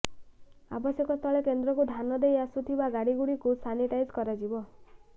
ଆବଶ୍ୟକସ୍ଥଳେ କେନ୍ଦ୍ରକୁ ଧାନ ନେଇ ଆସୁଥିବା ଗାଡିଗୁଡିକୁ ସାନିଟାଇଜ କରାଯିବ